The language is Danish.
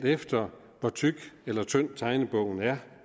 efter hvor tyk eller tynd tegnebogen er